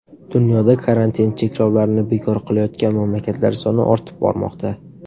Dunyoda karantin cheklovlarini bekor qilayotgan mamlakatlar soni ortib bormoqda.